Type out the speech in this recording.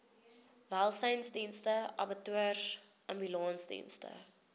welsynsdienste abattoirs ambulansdienste